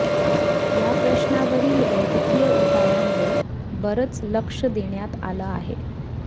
या प्रश्नावरील वैद्यकीय उपायांवर बरंच लक्ष देण्यात आलं आहे